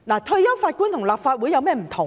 退休法官和立法會有甚麼不同呢？